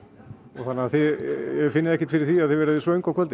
þannig að þið finnið ekki fyrir því að þið verðið svöng á kvöldin